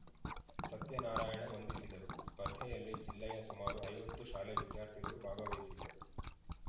ಸತ್ಯನಾರಾಯಣ ವಂದಿಸಿದರು ಸ್ಪರ್ಧೆಯಲ್ಲಿ ಜಿಲ್ಲೆಯ ಸುಮಾರು ಐವತ್ತು ಶಾಲೆ ವಿದ್ಯಾರ್ಥಿಗಳು ಭಾಗವಹಿಸಿದ್ದರು